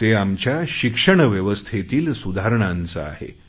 ते आमच्या शिक्षण व्यवस्थेतील सुधारणांचे आहे